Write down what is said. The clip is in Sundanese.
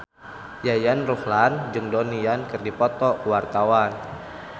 Yayan Ruhlan jeung Donnie Yan keur dipoto ku wartawan